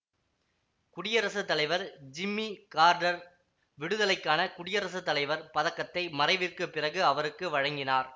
குடியரசு தலைவர் Jimmy Carter விடுதலைக்கான குடியரசு தலைவர் பதக்கத்தை மறைவிற்கு பிறகு அவருக்கு வழங்கினார்